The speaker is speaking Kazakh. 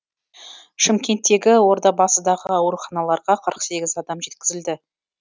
шымкенттегі ордабасыдағы ауруханаларға қырық сегіз адам жеткізілді